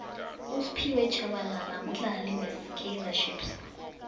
usphiwe shabalala mdlali we kaizer chiefs